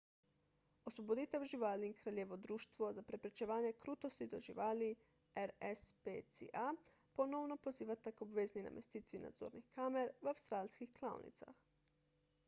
osvoboditev živali in kraljevo društvo za preprečevanje krutosti do živali rspca ponovno pozivata k obvezni namestitvi nadzornih kamer v avstralskih klavnicah